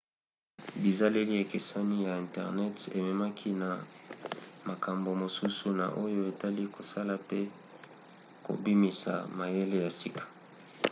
bizaleli ekeseni ya internet ememaki na makambo mosusu na oyo etali kosala pe kobimisa mayele ya sika